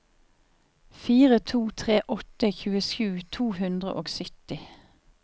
fire to tre åtte tjuesju to hundre og sytti